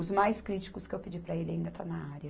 Os mais críticos que eu pedi para ele ainda está na área.